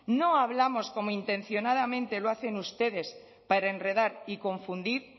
no hablamos como intencionadamente lo hacen ustedes para enredar y confundir